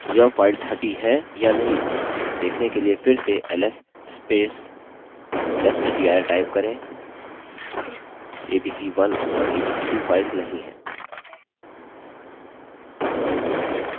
यह फाइल्स हटी हैं या नहीं देखने के लिए फिर से ls testdir type करें abc1 और abc2 फाइल्स नहीं हैं